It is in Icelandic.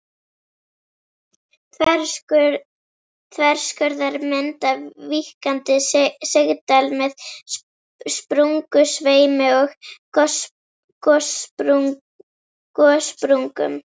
Þverskurðarmynd af víkkandi sigdal með sprungusveimi og gossprungum.